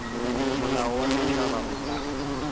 molao wa setšhaba o ka